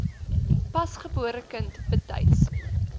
pasgebore kind betyds